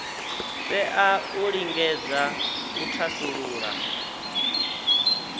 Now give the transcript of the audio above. tea u lingedza u thasulula